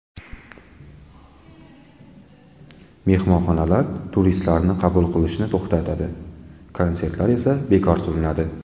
Mehmonxonalar turistlarni qabul qilishni to‘xtatadi, konsertlar esa bekor qilinadi.